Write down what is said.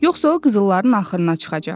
Yoxsa o qızılların axırına çıxacaq.